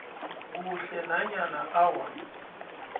kuhle nanyana awa